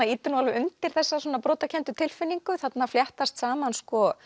ýtir nú alveg undir þessa brotakenndu tilfinningu þarna fléttast saman